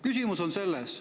Küsimus on selles.